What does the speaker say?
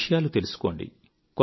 విషయాలు తెలుసుకోండి